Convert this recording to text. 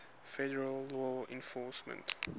federal law enforcement